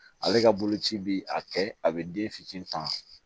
Ale ka boloci bi a kɛ a bɛ den fitinin ta